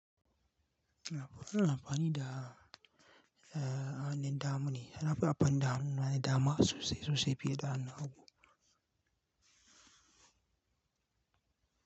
Ina amfani da, ah, hannun dama ne. Ni nafi anfani da hannuna na dama sosai-sosai fiye da hannu.